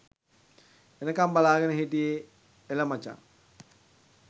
එනකම් බලාගෙන හිටියේ එළ මචං.